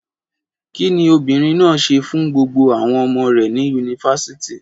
Kí ni obìnrin náà ṣe fún gbogbo àwọn ọmọ rẹ̀ ní Yunifásítì?